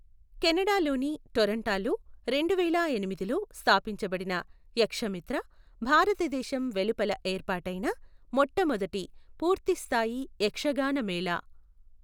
Canada లోని టొరంటోలో రెండువేల ఎనిమిదిలో స్థాపించబడిన యక్షమిత్ర, భారతదేశం వెలుపల ఏర్పాటైన మొట్టమొదటి పూర్తి స్థాయి యక్షగాన మేళా .